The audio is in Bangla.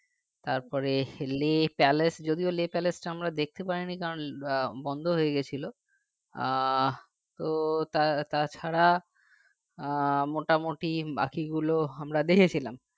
তারপরে Leh palace যদিও Leh palace টা আমরা দেখতে পাইনি কারণ আহ বন্ধ হয়ে গেছিলো আহ তো তা তাছাড়া আহ মোটামুটি বাকিগুলো আমরা দেখেছিলাম